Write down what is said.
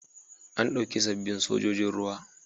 An ɗauki sabbin sojojin ruwa.